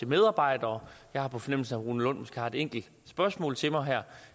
medarbejdere jeg har på fornemmelsen rune lund måske har et enkelt spørgsmål til mig her